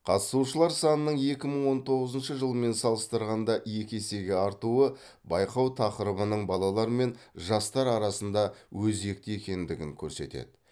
қатысушылар санының екі мың он тоғызыншы жылмен салыстырғанда екі есеге артуы байқау тақырыбының балалар мен жастар арасында өзекті екендігін көрсетеді